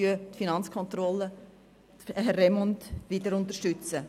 Für die Finanzkontrolle unterstützen wir wieder Herrn Remund.